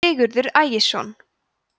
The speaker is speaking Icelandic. sigurður ægisson